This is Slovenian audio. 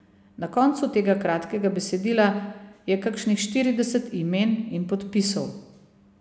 Na koncu tega kratkega besedila je kakšnih štirideset imen in podpisov.